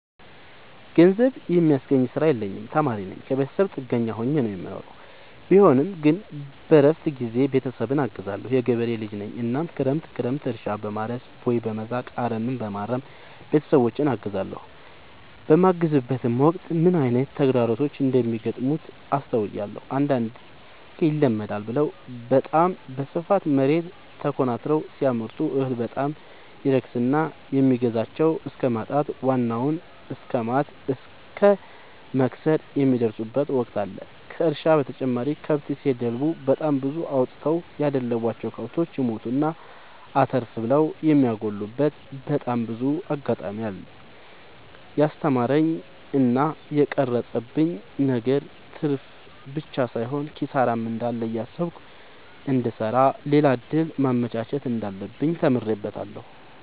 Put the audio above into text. ገንዘብ የሚያስገኝ ስራ የለኝም ተማሪነኝ ከብተሰብ ጥገኛ ሆኜ ነው የምኖረው ቢሆንም ግን በረፍት ጊዜዬ ቤተሰብን አግዛለሁ። የገበሬ ልጅነኝ እናም ክረምት ክረምት እርሻ፣ በማረስ፣ ቦይ፣ በመዛቅ፣ አረምበማረም ቤተሰቦቼን አግዛለሁ። በማግዝበትም ወቅት ምን አይነት ተግዳሮቶች እንደሚገጥሙት አስተውያለሁ። አንዳንዴ ይመደዳል ብለው በታም በስፋት መሬት ተኮናትረው ሲያመርቱ እህል በጣም ይረክስና የሚገዛቸው እስከማጣት ዋናውን እስከማት እስከ መክሰር የሚደርሱበት ወቅት አለ ከእርሻ በተጨማሪ ከብት ሲደልቡ በጣም ብዙ አውጥተው ያደለቡቸው። ከብቶች ይሞቱና አተርፍ ብለው የሚያጎሉበቴ በጣም ብዙ አጋጣሚ አለ። የስተማረኝ እና የቀረፀብኝ ነገር ትርፍብቻ ሳይሆን ኪሳራም እንዳለ እያሰብኩ እንድሰራ ሌላ እድል ማመቻቸት እንዳለብኝ ተምሬበታለሁ።